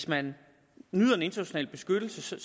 man glæde sig